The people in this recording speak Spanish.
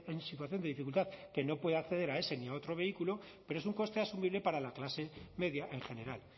en situación de dificultad que no puede acceder a ese ni a otro vehículo pero es un coste asumible para la clase media en general